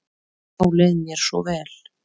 Þá leið mér svo vel.